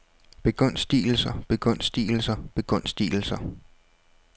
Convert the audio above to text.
begunstigelser begunstigelser begunstigelser